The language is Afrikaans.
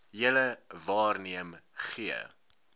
julle waarneem gee